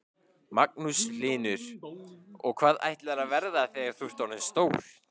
Magnús Hlynur: Og hvað ætlarðu að verða þegar þú ert orðin stór?